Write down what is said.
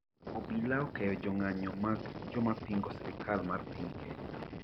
obila okeyo jong'anyo mag jomapingo Sirikal mar Piny Kenya